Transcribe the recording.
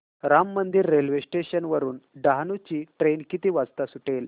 Ram Mandir railway station वरुन डहाणू ची train किती वाजता सुटेल